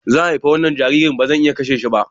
Zan haifi wannan jaririn, ba zan iya kashe shi ba.